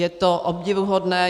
Je to obdivuhodné.